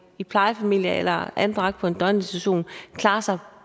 i plejefamilier eller anbragt på en døgninstitution klarer sig